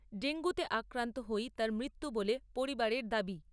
ডেঙ্গুতে আক্রান্ত হয়েই তাঁর মৃত্যু বলে পরিবারের দাবি।